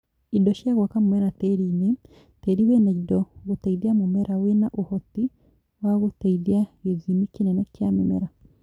Indo cia gwaka mũmera tĩriinĩ: tĩri wĩna indo gũteithia mĩmera wĩna ũhoti wa gũteithia gĩthimi kĩnene kĩa mĩmera.